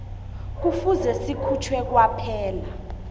kufuze sikhutjhwe kwaphela